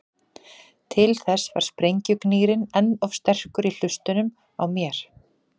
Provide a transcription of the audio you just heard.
Til þess var sprengjugnýrinn enn of sterkur í hlustunum á mér.